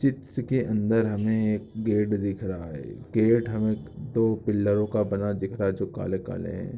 चित्र के अंदर हमें एक गेट दिख रहा हैं गेट हमें दो पिल्लरों का बना दिख रहा हैं जो काले काले हैं।